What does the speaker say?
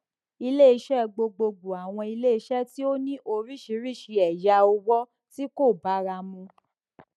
iléiṣẹ gbogbogbò àwọn iléiṣẹ tí ó ní oríṣiríṣi ẹyà òwò tí kò bára mu